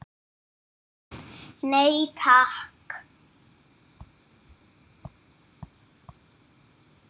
Nei, takk.